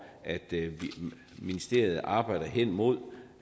at ministeriet arbejder henimod